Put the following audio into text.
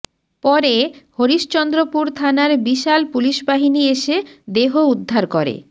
পরে হরিশ্চন্দ্রপুর থানার বিশাল পুলিশবাহিনী এসে দেহ উদ্ধার করে